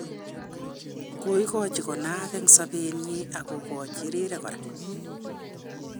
Koigachi konaak eng sabet nyi ak kokachi rirek kora